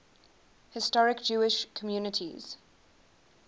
historic jewish communities